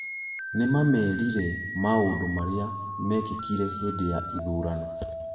Nĩmamerire maũndũmarĩa mekĩkire hĩndĩ ya ithurano